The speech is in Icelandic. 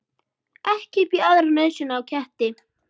Ekki upp í aðra nösina á ketti.